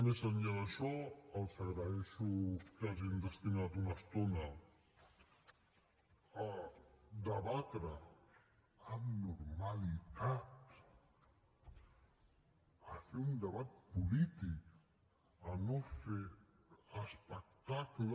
més enllà d’això els agraeixo que hagin destinat una estona a debatre amb normalitat a fer un debat polític a no fer espectacle